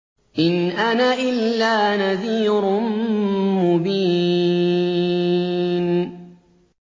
إِنْ أَنَا إِلَّا نَذِيرٌ مُّبِينٌ